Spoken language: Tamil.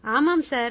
ஆமாம் சார்